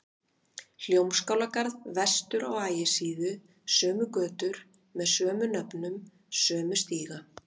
Hljómskálagarð vestur á Ægisíðu, sömu götur með sömu nöfnum, sömu stíga.